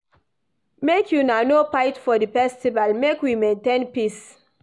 Make una no fight for di festival, make we maintain peace.